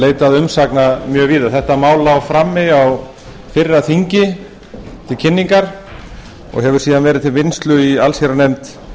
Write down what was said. leitað umsagna mjög víða þetta mál lá frammi á fyrra þingi til kynningar og hefur síðan verið til vinnslu í allsherjarnefnd